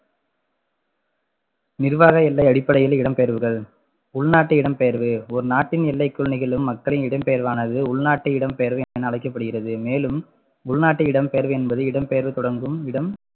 நிர்வாக எல்லை அடிப்படையில் இடம்பெயர்வுகள் உள்நாட்டு இடம்பெயர்வு ஒரு நாட்டின் எல்லைக்குள் நிகழும் மக்களின் இடம் பெயர்வானது உள்நாட்டு இடம்பெயர்வு என அழைக்கப்படுகிறது மேலும் உள்நாட்டு இடம்பெயர்வு என்பது இடம்பெயர்வு தொடங்கும் இடம்